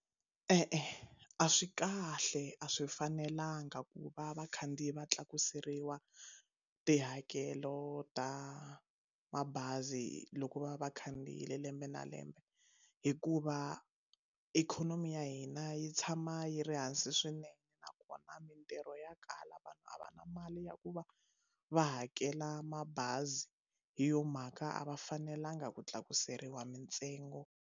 E-e a swi kahle a swi fanelanga ku va vakhandziyi va tlakuseriwa tihakelo ta mabazi loko va va khandziyile lembe na lembe hikuva ikhonomi ya hina yi tshama yi ri hansi swinene nakona mintirho ya kala vanhu a va na mali ya ku va va hakela mabazi hi yo mhaka a va fanelanga ku tlakuseriwa mintsengo.